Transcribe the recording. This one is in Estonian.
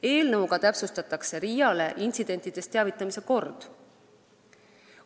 Eelnõuga täpsustatakse RIA-le intsidentidest teavitamise korda.